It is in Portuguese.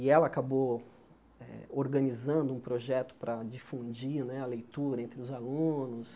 E ela acabou eh organizando um projeto para difundir né a leitura entre os alunos.